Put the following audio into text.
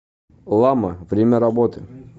лама время работы